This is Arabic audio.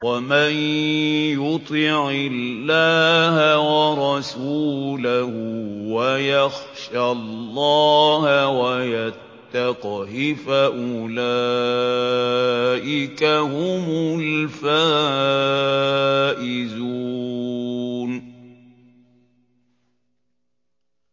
وَمَن يُطِعِ اللَّهَ وَرَسُولَهُ وَيَخْشَ اللَّهَ وَيَتَّقْهِ فَأُولَٰئِكَ هُمُ الْفَائِزُونَ